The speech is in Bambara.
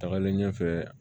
Tagalen ɲɛfɛ